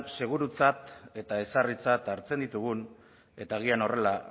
segurutzat eta ezarritzat hartzen ditugun eta agian horrela